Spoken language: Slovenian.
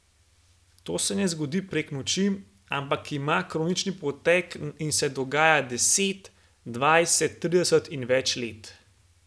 To se ne zgodi prek noči, ampak ima kroničen potek in se dogaja deset, dvajset, trideset in več let.